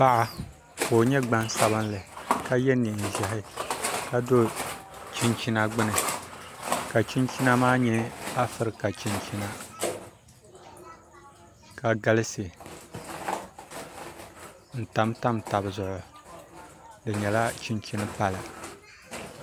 Paɣa ka o nyɛ gbansabinli ka yɛ neen ʒiɛhi ka do chinchina gbuni ka chinchina maa nyɛ afirika chinchina ka galisi n tamtam tabi zuɣu di nyɛla chinchini pala